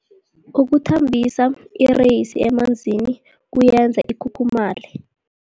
Ukuthambisa ireyisi emanzini kuyenza ikhukhumaye.